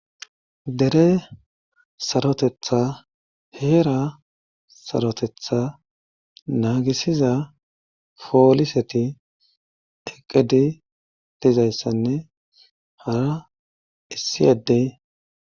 dere sarotetha heera sarotetha naagisiza pooliseti eqqedi dizayssanne hara issi addey